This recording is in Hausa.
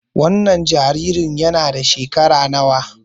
Wannan jaririn yana da shekara nawa?